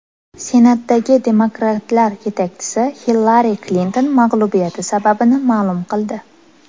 Senatdagi demokratlar yetakchisi Hillari Klinton mag‘lubiyati sababini ma’lum qildi.